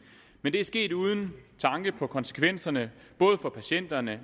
men det er sket uden tanke på konsekvenserne for patienterne